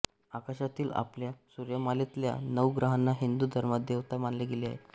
आकाशातील आपल्या सूर्यमालेतल्या नऊ ग्रहांना हिंदू धर्मात देवता मानले गेले आहे